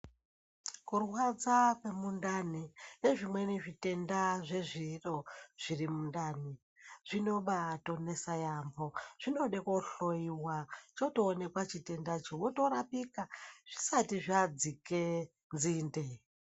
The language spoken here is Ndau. Kurwadza kwemundani nezvimweni zvitenda zvezviro zviri mundani zvinobai tokosha yambo zvinode kuhloyiwa chotoonekwa chitenda cho wotorapika zvisati zvadzike nzinde.